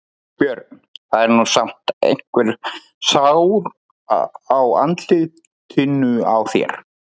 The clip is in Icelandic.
Björn: Það er nú samt einhver sár á andlitinu á þér?